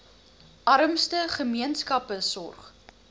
armste gemeenskappe sorg